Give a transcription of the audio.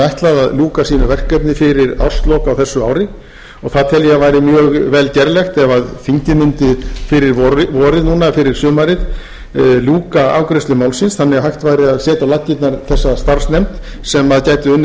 ætlað að ljúka sínu verkefni fyrir árslok á þessu ári það tel ég að væri mjög vel gerlegt ef þingið mundi fyrir vorið núna fyrir sumarið ljúka afgreiðslu málsins þannig að hægt væri að setja á laggirnar þessa starfsnefnd sem gæti unnið